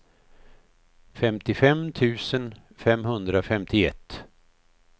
femtiofem tusen femhundrafemtioett